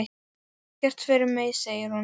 Það er ekkert fyrir mig, segir hún.